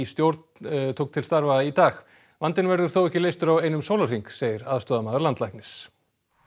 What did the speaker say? stjórn tók til starfa í dag vandinn verður þó ekki leystur á einum sólarhring segir aðstoðarmaður landlæknis